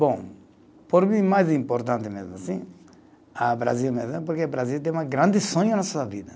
Bom, por mim, mais importante mesmo assim, ah Brasil mesmo, porque o Brasil tem um grande sonho na sua vida.